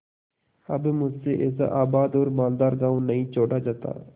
अब मुझसे ऐसा आबाद और मालदार गॉँव नहीं छोड़ा जाता